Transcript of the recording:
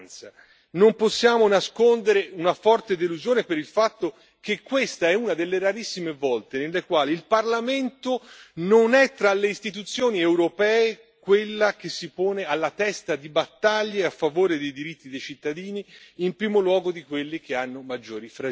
Non possiamo nascondere una forte delusione per il fatto che questa è una delle rarissime volte nelle quali il Parlamento non è, tra le istituzioni europee, quella che si pone alla testa di battaglie a favore dei diritti dei cittadini, in primo luogo di quelli che hanno maggiori fragilità.